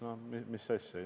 No mis asja?